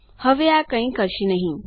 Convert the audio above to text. હવે આ કઈ કરશે નહિ